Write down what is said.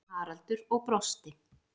Haraldur og brosti.